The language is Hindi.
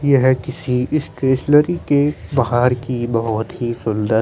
ये हैं किसी इस लरी के बाहर की बहुत ही सुंदर--